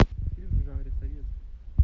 фильм в жанре советский